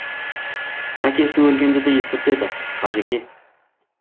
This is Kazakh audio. әкесі өлгенді де естіртеді қажеке